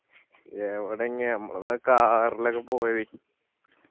യെവിടെ ചെങ്ങായി അമ്മളന്ന് ആ car ല് ഒക്കെ പോയത്